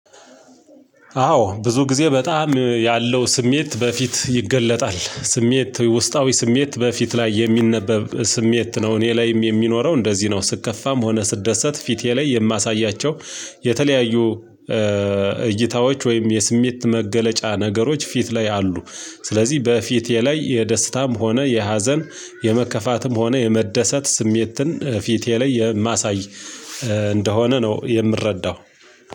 አዎ ብዙ ጊዜ በጣም ያለው ስሜት በፊት ይገለጣል ስሜት ውስጣዊ ስሜት በፊት ላይ የሚነበብ ስሜት ነው እኔ ላይም የሚኖረው እንደዚህ ነው። ስከፋም ሆነ ስደሰት ፊቴ ላይ የማሳያቸው የተለያዩ እይታዎች ወይም የስሜት መገለጫ ነገሮች ፊት ላይ አሉ። ስለዚህ በፊቴ ላይ የደስታም ሆነ የሀዘን የመከፋትም ሆነ የመደሰት ስሜትን ፊቴ ላይ የማሳይ እንደሆነ ነው። የምረዳው